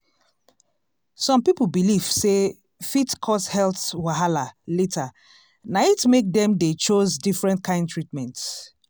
some people belief sey fit cause health wahala later na it make dem dey chose different kind treatment.